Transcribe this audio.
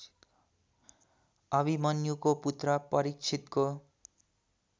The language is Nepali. अभिमन्युको पुत्र परीक्षितको